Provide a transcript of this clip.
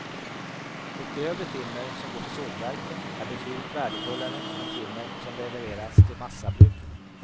Det grövre timmer som går till sågverken är betydligt värdefullare än timmer som levereras till massabruken.